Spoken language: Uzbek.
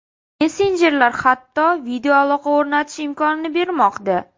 Messenjerlar hatto videoaloqa o‘rnatish imkonini bermoqda.